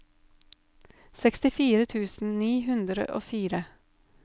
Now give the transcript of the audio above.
sekstifire tusen ni hundre og fire